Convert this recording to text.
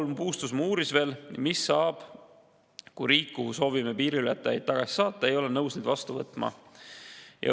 Paul Puustusmaa uuris veel, mis saab siis, kui riik, kuhu soovime piiriületajad tagasi saata, ei ole nõus neid vastu võtma.